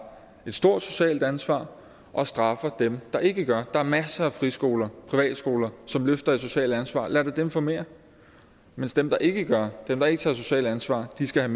et stort socialt ansvar og straffer dem der ikke gør der er masser af friskoler og private skoler som løfter et socialt ansvar og lad da dem få mere mens dem der ikke gør dem der ikke tager et socialt ansvar skal